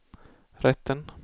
rätten